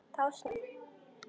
Þá sneru þau við.